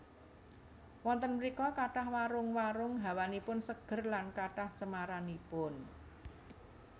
Wonten mrika kathah warung warung hawanipun seger lan kathah cemaranipun